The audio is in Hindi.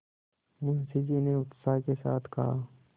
मुंशी जी ने उत्साह के साथ कहा